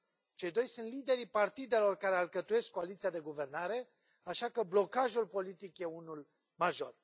Cei doi sunt liderii partidelor care alcătuiesc coaliția de guvernare, așa că blocajul politic e unul major.